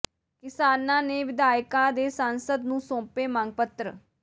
ਕਿਸਾਨਾਂ ਨੇ ਵਿਧਾਇਕਾਂ ਤੇ ਸਾਂਸਦ ਨੂੰ ਸੌਂਪੇ ਮੰਗ ਪੱਤਰ